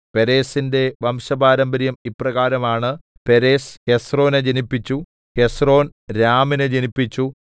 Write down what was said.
പേരെസിന്റെ വംശപാരമ്പര്യം ഇപ്രകാരമാണ് പേരെസ് ഹെസ്രോനെ ജനിപ്പിച്ചു ഹെസ്രോൻ രാമിനെ ജനിപ്പിച്ചു